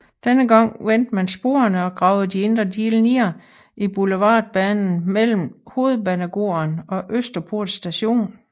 Denne gang vendte man sporene og gravede de indre dele ned i Boulevardbanen mellem Hovedbanegården og Østerport Station